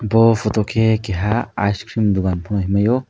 o photo ke keha ice cream dogan pono hingmai o.